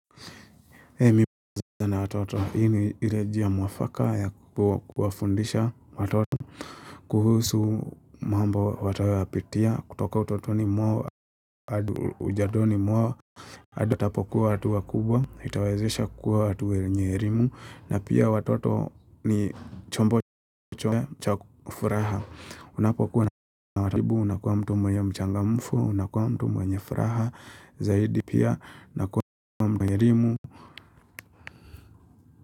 Hei mimi na watoto hii ni ile njia mwafaka ya kuwafundisha watoto kuhusu mambo wataoyapitia kutoka utotoni mwao haduli ujandoni mwao hadi watapokuwa watu wakubwa Itawazesha kuwa watu wenye elimu na pia watoto ni chombo chombo chombo cha furaha Unapokuwa na watoto karibu unakuwa mtu mwenye mchangamfu unakuwa mtu mwenye furaha Zaidi pia unakuwa mtu mwenye elimu.